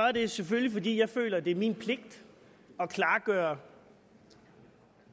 er det selvfølgelig fordi jeg føler det er min pligt at klargøre